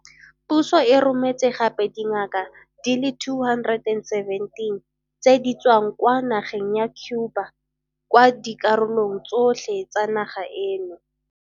Puso e rometse gape le dingaka di le 217 tse di tswang kwa nageng ya Cuba kwa dikarolong tsotlhe tsa naga eno.